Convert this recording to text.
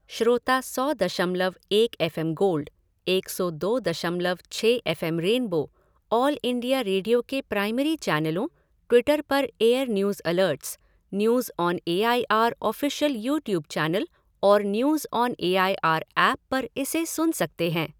श्रोता सौ दशमलव एक एफ़एम गोल्ड, एक सौ दो दशमलव छ FM Rainbow, All India Radio के प्राइमरी चैनलों, ट्विटर पर AIR news alerts, news on AIR official YouTube channel और न्यूज़ऑनएआईआर ऐप पर इसे सुन सकते हैं।